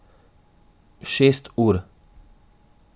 Šest ur.